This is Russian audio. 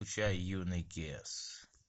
включай юный кеес